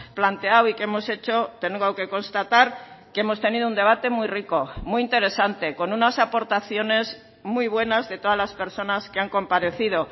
planteado y que hemos hecho tengo que constatar que hemos tenido un debate muy rico muy interesante con unas aportaciones muy buenas de todas las personas que han comparecido